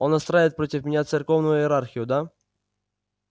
он настраивает против меня церковную иерархию да